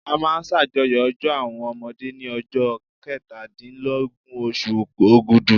A máa ṣàjọyọ̀ ọjọ́ àwọn ọmọdé ní ọjọ́ kẹtàdínlógún oṣù Ògùdú.